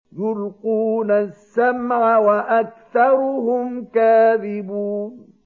يُلْقُونَ السَّمْعَ وَأَكْثَرُهُمْ كَاذِبُونَ